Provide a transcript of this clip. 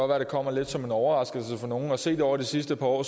være det kommer lidt som en overraskelse for nogen og set over det sidste par år